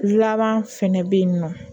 Laban fɛnɛ be yen nɔ